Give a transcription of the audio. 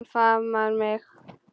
Hann faðmar mig.